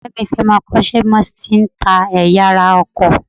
Ọ̀rẹ́ mi fẹ́ máa kọ́ iṣẹ́ bí wọ́n ti ń ta ẹ̀yà ara ọkọ̀